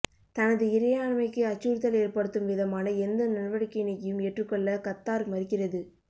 தனது இறையாண்மைக்கு அச்சுறுத்தல் ஏற்படுத்தும் விதமான எந்த நடவடிக்கையினையும் ஏற்றுக்கொள்ள கத்தார் மறுக்கிறது